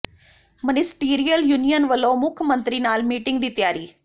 ministerial union ਵੱਲੋਂ ਮੁੱਖ ਮੰਤਰੀ ਨਾਲ ਮੀਟਿੰਗ ਦੀ ਤਿਆਰੀ